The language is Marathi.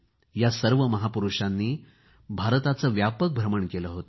या सर्व महापुरूषांनी भारताचे व्यापक भ्रमण केले होते